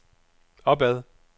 opad